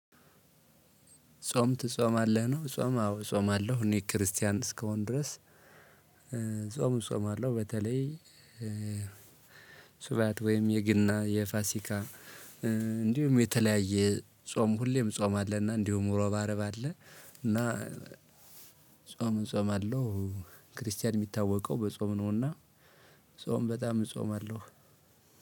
ጾም ትጾማለህ ነው ጾም አዎ እጾማለሁ እኔ ክርስቲያን እስከሆን ድረስ። ጾም እጾማለው በተለይ። ስብያት ወይም የገና የፋሲካ። እንዲሁም የተለያየ ጾም ሁሌም እንጾማለን እና እንዲሁም ሮብ አርብ አለ። እና ጾም እጾማለው። ክርስቲያን የሚታወቀው በጾም ነውና። ጾም በጣም እጾማለሁ።